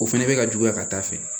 O fana bɛ ka juguya ka taa fɛ